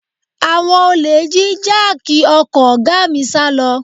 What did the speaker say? Àwọn olè jí jáàkì ọkọ̀ ọ̀gá mi sálọ